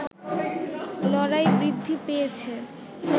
লড়াই বৃদ্ধি পেয়েছে